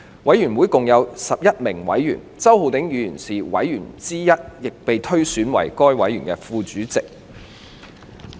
委員會共有11名委員，周浩鼎議員是委員之一，亦被推選為委員會的副主席。